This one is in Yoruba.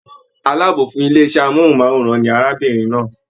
Àlábọ̀ fún ilé iṣẹ amohunmaworan ní arábìnrin náà.